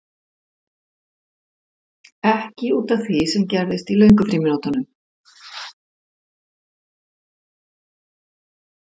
Ekki út af því sem gerðist í löngu frímínútunum.